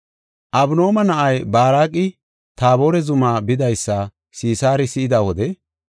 Abinooma na7ay Baaraqi Taabore zuma bidaysa Sisaari si7ida wode,